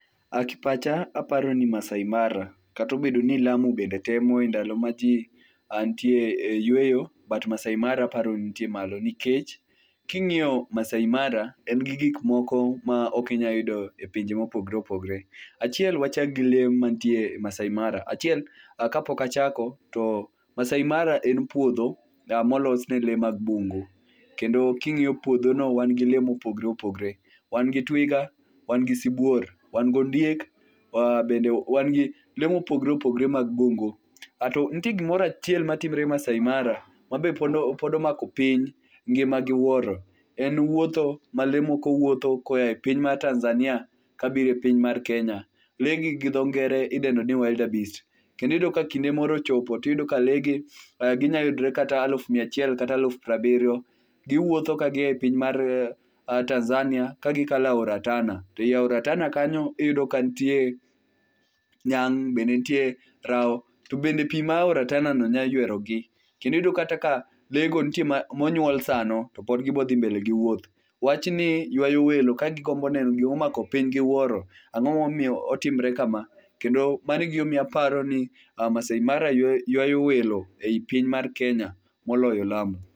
Ei pacha aparoni Maasai Mara kata obedo ni Lamu bende temo endalo maji nitie e yueyo but Maasai Mara aparo ni jitiere malo nikech ka ing'iyo Maasai Mara en gi gik moko maok inyal yudo e pinje ma opogore opogore. Achiel wachak gi lee mantie Maasai Mara achiel kapok achako to Maasai Mara en puodho molos ne lee mag bungu kendo ka ing'iyo puodhono wan lee mopogore opogore. Wan gi twiga, wan gi sibuor, wan gondiek bende wan gi lee mopogore opogore mag bungu ato nitie gimoro achiel matimore Maasai Mara ma be pod mako piny ngima giwuoro en wuotho ma lee moko wuotho koa e piny mar Tanzania kabiro e piny mar Kenya. Lee gi gi dho ngere idendo ni wild beast kendo iyudo ka kinde moro ochopo to iyudo ka lee gi ginyalo yudre kata alufu miya achiel kata alufu piero abiriyo. Giwuotho ka gia e piny mar Tanzania gikalo aora Tana, to ei aora Tana kanyo iydo ka nitie nyang' be nitie , rao to bende pi ma aorano be nyalo ywerogi to iyudo ka lee go nitie monyuol sano to pod gibiro dhi mbele giwuoth. Wachni yuayo welo ka gigombo neno gima omako piny gi wuoro, ang'o ma omiyo otimre kama kendo mano e gima omiyo aparoni Maasai Mara yuayo welo e piny mar Kenya molyo Lamu.